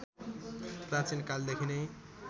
प्राचीन कालदेखि नै